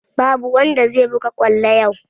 Babu wanda zai buga kwallo yau!